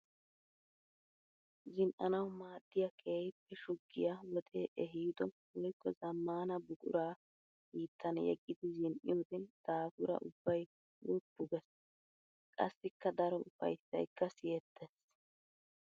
Zin'anawu maadiya keehippe shugiya wode ehiido woykko zamaana buqura hiittan yeggiddi zin'iyoode daafura ubbay woppu geesi. Qassikka daro ufayssaykka siyettees.